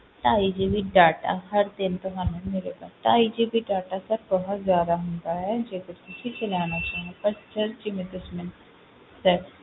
ਢਾਈ GB data ਹਰ ਦਿਨ ਤੁਹਾਨੂੰ ਮਿਲੇਗਾ ਢਾਈ GB data sir ਬਹੁਤ ਜ਼ਿਆਦਾ ਹੁੰਦਾ ਹੈ, ਜੇਕਰ ਤੁਸੀਂ ਚਲਾਉਣਾ ਚਾਹੋ but sir ਜਿਵੇਂ ਤੁਸੀਂ ਮੈਨੂੰ sir